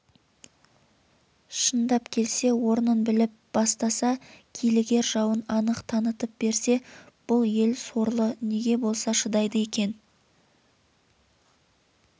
шындап келсе орнын біліп бастаса килігер жауын анық танытып берсе бұл ел сорлы неге болса шыдайды екен